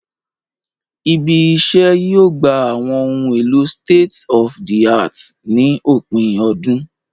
Ibí iṣẹ́ yóò gbà àwọn ohun èlò state-of-the-art ní òpin ọdún